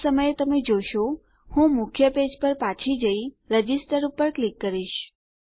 આ સમયે તમે જોશો હું મુખ્ય પેજ પર પાછી જઈ રજિસ્ટર પર ક્લિક કરીશ